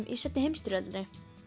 í seinni heimsstyrjöldinni